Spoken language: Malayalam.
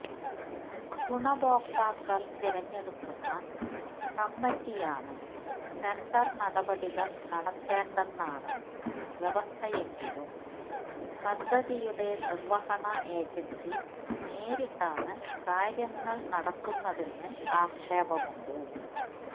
ഗുണഭോക്താക്കള് തിരഞ്ഞെടുക്കുന്ന കമ്മിറ്റിയാണ് ടെന്ഡര് നടപടികള് നടത്തേണ്ടെന്നാണ് വ്യവസ്ഥയെങ്കിലും പദ്ധതിയുടെ നിര്വഹണ ഏജന്സി നേരിട്ടാണ് കാര്യങ്ങള് നടത്തുന്നതെന്ന് ആക്ഷേപമുണ്ട്